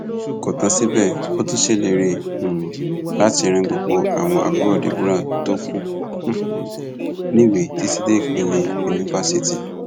kò tán síbẹ ó tún ṣèlérí um láti ran gbogbo àwọn àbúrò deborah tó kù um níwèé títí dé ìpele yunifásitì